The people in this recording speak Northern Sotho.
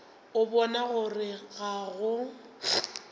a bona gore ga go